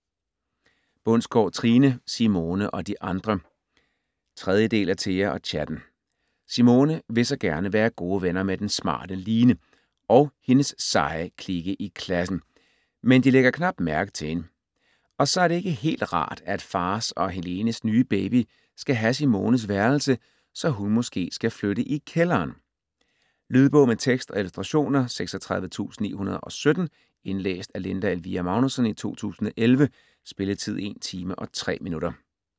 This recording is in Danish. Bundsgaard, Trine: Simone og de andre 3. del af Thea og chatten. Simone vil så gerne være gode venner med den smarte Line og hendes seje klike i klassen, men de lægger knap mærke til hende. Og så er det ikke helt rart, at fars og Helenes nye baby skal have Simones værelse, så hun måske skal flytte i kælderen. Lydbog med tekst og illustrationer 36917 Indlæst af Linda Elvira Magnussen, 2011. Spilletid: 1 timer, 3 minutter.